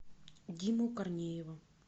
диму корнеева